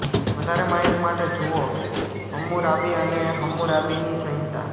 વધારે માહિતી માટે જુઓ હમ્મુરાબી અને હમ્મુરાબીની સંહિતા